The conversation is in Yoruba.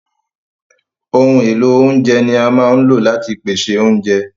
Ohun èlò oúnjẹ ni a máa ń lò láti pèsè oúnjẹ.